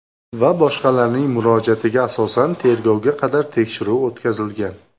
va boshqalarning murojaatiga asosan tergovga qadar tekshiruv o‘tkazilgan.